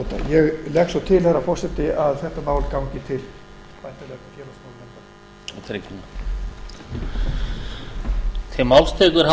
ég legg svo til herra forseti að þetta mál gangi til háttvirtrar félags og tryggingamálanefndar